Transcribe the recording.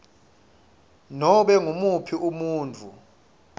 nobe ngumuphi umuntfu